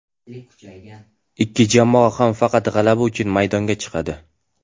Ikki jamoa ham faqat g‘alaba uchun maydonga chiqadi.